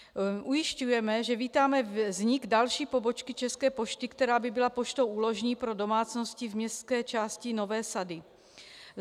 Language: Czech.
Ujišťujeme, že vítáme vznik další pobočky České pošty, která by byla poštou úložní pro domácnosti v městské části Nové sady.